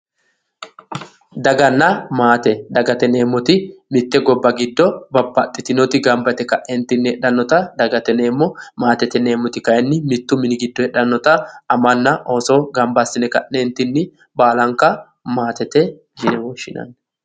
Daganna maate, dagate yineemmoti mite gobba giddo babbaxitinoti gamba yte kaentinni heedhanotta dagate yineemmo, maatete kayinni mitu mine heedhanotta amanna anna ooso gamba assine ka'neentinni baallanka maatete yinne woshshinanni.